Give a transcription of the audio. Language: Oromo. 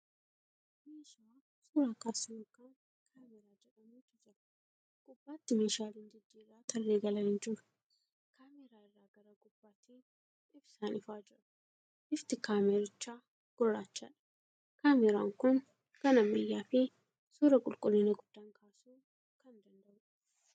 Meeshaa suura kaasu yookan kaameeraa jedhamutu jira. Gubbaatti meeshaaleen jijjiirraa tarree galanii jiru. Kaameeraa irraa gara gubbaatiin ibsaan ifaa jira. Bifti Kaameerichaa gurraachadha. Kaameeraan kun kan ammayyaa fi suura qulqullina guddaan kaasuu kan danda'uudha.